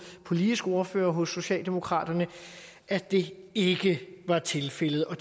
er politisk ordfører hos socialdemokraterne at det ikke var tilfældet og